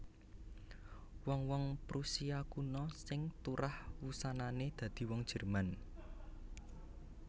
Wong wong Prusia Kuna sing turah wusanané dadi wong Jerman